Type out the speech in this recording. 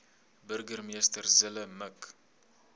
burgemeester zille mik